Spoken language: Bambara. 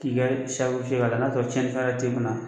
K'i kɛ k'a lajɛ n'a y'a sɔrɔ cɛnninfɛn wɛrɛ ti kunna.